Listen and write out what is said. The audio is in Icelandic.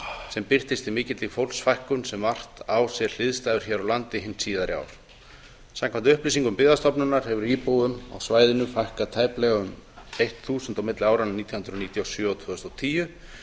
sem birtist í mikilli fólksfækkun sem vart á sér hliðstæður hér á landi hin síðari ár samkvæmt upplýsingum byggðastofnunar hefur íbúum á svæðinu fækkað um tæplega þúsund milli áranna nítján hundruð níutíu og sjö og tvö þúsund og tíu